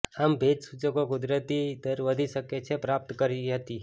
આમ ભેજ સૂચકો કુદરતી દર વધી શકે છે પ્રાપ્ત કરી હતી